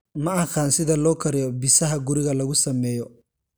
Ma aqaan sida loo kariyo bisaha guriga lagu sameeyo?